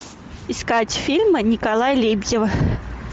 искать фильмы николая лебедева